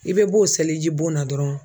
I bɛ b'o selijibon na dɔrɔn